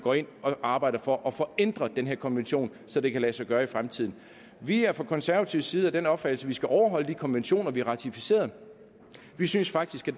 arbejder for at få ændret den her konvention så det kan lade sig gøre i fremtiden vi er fra konservativ side af den opfattelse at vi skal overholde de konventioner vi har ratificeret vi synes faktisk